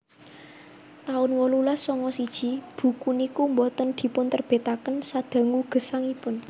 taun wolulas sanga siji buku niku boten dipunterbitaken sadangu gesangipun